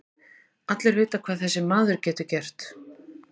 Allir vita hvað þessi maður getur gert.